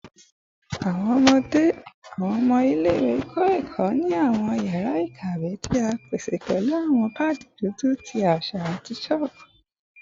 Awọn ọmọ ile-iwe kọ ẹkọ ni awọn yara ikawe ti a pese pẹlu awọn paadi dudu ti aṣa ati chalk